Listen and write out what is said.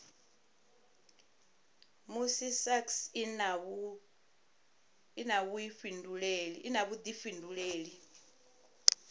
musi sasc i na vhuifhinduleli